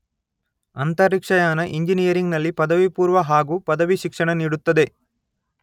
ಅಂತರಿಕ್ಷಯಾನ ಇಂಜಿನಿಯರಿಂಗ್ ನಲ್ಲಿ ಪದವಿಪೂರ್ವ ಹಾಗು ಪದವಿ ಶಿಕ್ಷಣ ನೀಡುತ್ತದೆ.